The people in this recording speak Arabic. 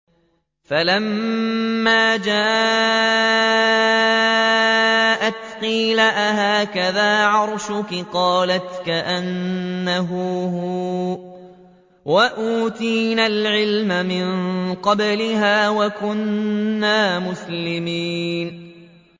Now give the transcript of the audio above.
فَلَمَّا جَاءَتْ قِيلَ أَهَٰكَذَا عَرْشُكِ ۖ قَالَتْ كَأَنَّهُ هُوَ ۚ وَأُوتِينَا الْعِلْمَ مِن قَبْلِهَا وَكُنَّا مُسْلِمِينَ